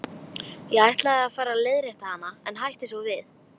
Ég ætlaði að fara að leiðrétta hana en hætti við.